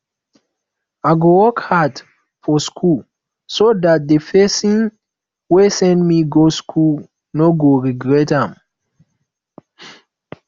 i go work hard for school so dat the person wey send me go school no go regret am